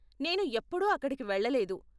నేను ఎప్పుడూ అక్కడికి వెళ్ళలేదు.